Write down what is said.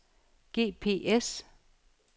GPS